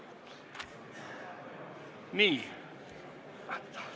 Nii.